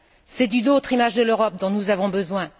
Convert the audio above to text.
C'est d'une autre image de l'Europe dont nous avons besoin.